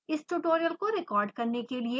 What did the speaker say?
इस tutorial को record करने के लिए